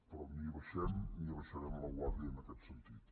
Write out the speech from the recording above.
però ni abaixem ni abaixarem la guàrdia en aquest sentit